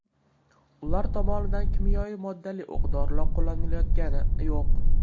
Ular tomonidan kimyoviy moddali o‘q-dorilar qo‘llanilayotgani yo‘q.